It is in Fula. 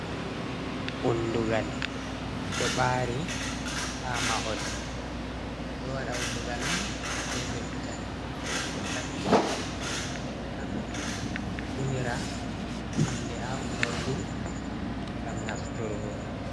Undugal ɗo ɓari ha mahol ɓe do wada undugal on be leggal, ɓe sehata ɗum gam ɓe unira hunde ha unordu gam naftirurgo.